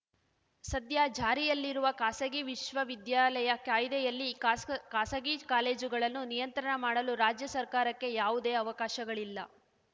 ಸದ್ಯ ಜಾರಿಯಲ್ಲಿರುವ ಖಾಸಗಿ ವಿಶ್ವ ವಿದ್ಯಾಲಯ ಕಾಯ್ದೆಯಲ್ಲಿ ಖಾಸ್ ಖಾಸಗಿ ಕಾಲೇಜುಗಳನ್ನು ನಿಯಂತ್ರಣ ಮಾಡಲು ರಾಜ್ಯ ಸರ್ಕಾರಕ್ಕೆ ಯಾವುದೇ ಅವಕಾಶಗಳಿಲ್ಲ